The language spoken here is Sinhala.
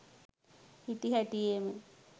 හිටි හැටියේම